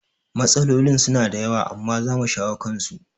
Matsalolin suna da yawa amma zamu shawo kansu